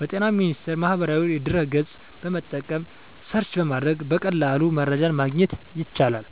በጤና ሚኒስቴር ማህበራዊ ድህረ ገፅን በመጠቀም ሰርች በማድረግ በቀላሉ መረጃን ማግኘት ይቻላል።